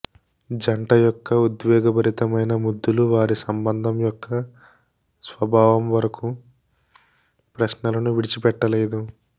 జంట యొక్క ఉద్వేగభరితమైన ముద్దులు వారి సంబంధం యొక్క స్వభావం వరకు ప్రశ్నలను విడిచిపెట్టలేదు